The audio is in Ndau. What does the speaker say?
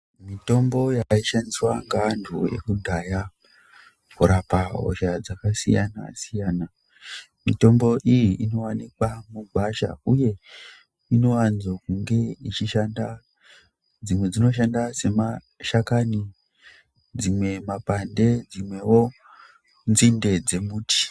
Mitombo yaishandiswa ngeantu ekudhaya kurapa hosha dzakasiyana-siyana, mitombo iyi inowanikwa mugwasha uye inowanzo kunge ichishanda, dzimwe dzinoshanda semashakani, dzimwe mapande, dzimwewo nzinde dzemuti.